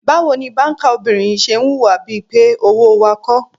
Báwo ni báńkà obìnrin yìí ṣe ń hùwà bí i pé owó wa kọ́?